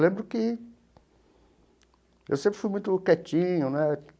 Eu lembro que eu sempre fui muito quietinho, né?